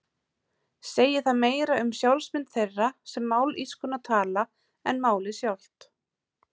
Segir það meira um sjálfsmynd þeirra sem mállýskuna tala en málið sjálft.